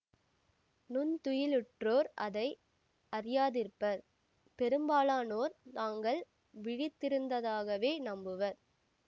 நுண்துயிலுற்றோர் அதை அறியாதிருப்பர் பெரும்பாலானோர் தாங்கள் விழித்திருந்ததாகவே நம்புவர்